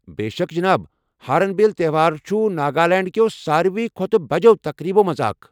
بے شک جناب! ہارن بِل تہوار چھُ ناگالینڈ کٮ۪و ساروی کھۄتہٕ بجٮ۪و تقریبَو مَنٛز اکھ ۔